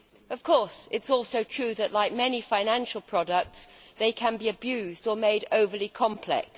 Of course it is also true that, like many financial products, they can be abused or made overly complex.